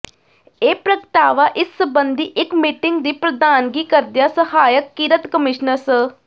ਇਹ ਪ੍ਰਗਟਾਵਾ ਇਸ ਸਬੰਧੀ ਇਕ ਮੀਟਿੰਗ ਦੀ ਪ੍ਰਧਾਨਗੀ ਕਰਦਿਆਂ ਸਹਾਇਕ ਕਿਰਤ ਕਮਿਸ਼ਨਰ ਸ